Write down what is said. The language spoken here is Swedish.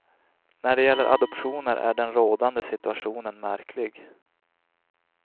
När det gäller adoptioner är den rådande situationen märklig.